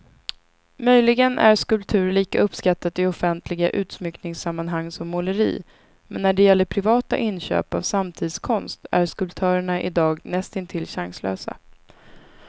Möjligen är skulptur lika uppskattat i offentliga utsmyckningssammanhang som måleri, men när det gäller privata inköp av samtidskonst är skulptörerna idag nästintill chanslösa.